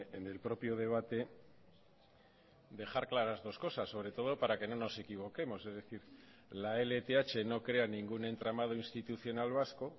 en el propio debate dejar claras dos cosas sobre todo para que no nos equivoquemos es decir la lth no crea ningún entramado institucional vasco